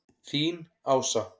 Þín, Ása.